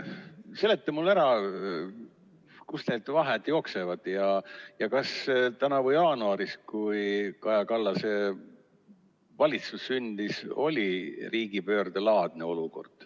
Seleta mulle ära, kust need vahed jooksevad ja kas tänavu jaanuaris, kui Kaja Kallase valitsus sündis, oli riigipöördelaadne olukord.